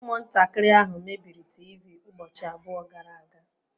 Umuntakiri ahu mebiri teevee ubochi abuo gara aga